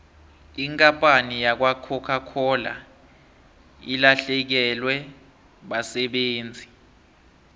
ikampani yakwacoca cola ilahlekelwe basebenzi